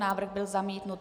Návrh byl zamítnut.